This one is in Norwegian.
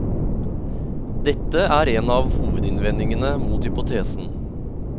Dette er en av hovedinnvendingene mot hypotesen.